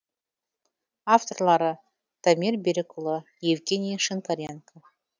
авторлары дамир берікұлы евгений шинкаренко